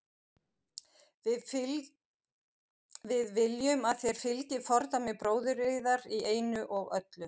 Við viljum að þér fylgið fordæmi bróður yðar í einu og öllu.